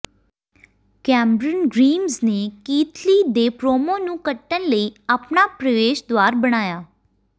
Cameron Grimes ਨੇ Keith Lee ਦੇ promo ਨੂੰ ਕੱਟਣ ਲਈ ਆਪਣਾ ਪ੍ਰਵੇਸ਼ ਦੁਆਰ ਬਣਾਇਆ